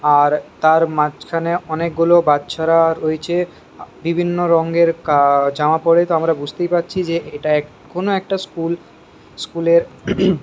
আর তার মাঝখানে অনেক গুলো বাচ্চা রা রয়েছে বিভিন্ন রঙের জামা পরে তো আমরা বুজতে পারছি যে এটা কোনো একটা স্কুল স্কুল এর--